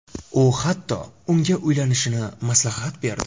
U, hattoki unga uylanishni maslahat berdi.